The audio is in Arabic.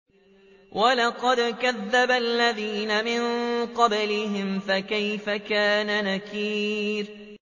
وَلَقَدْ كَذَّبَ الَّذِينَ مِن قَبْلِهِمْ فَكَيْفَ كَانَ نَكِيرِ